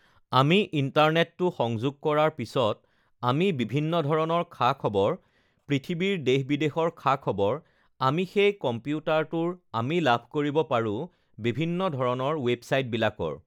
আমি ইন্টাৰনেটটো সংযোগ কৰাৰ পিছত আমি বিভিন্ন ধৰণৰ খা-খবৰ পৃথিৱীৰ দেশ-বিদেশৰ খা-খবৰ আমি সেই কম্পিউটাৰটোৰ আমি লাভ কৰিব পাৰোঁ বিভিন্ন ধৰণৰ ৱেবচাইটবিলাকৰ